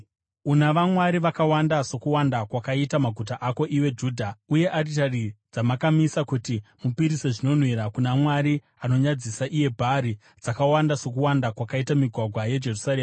Una vamwari vakawanda sokuwanda kwakaita maguta ako, iwe Judha; uye aritari dzamakamisa kuti mupisire zvinonhuhwira kuna mwari anonyadzisa, iye Bhaari, dzakawanda sokuwanda kwakaita migwagwa yeJerusarema.’